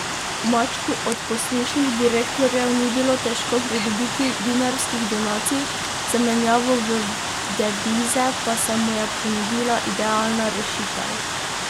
Mačku od poslušnih direktorjev ni bilo težko pridobiti dinarskih donacij, za menjavo v devize pa se mu je ponudila idealna rešitev.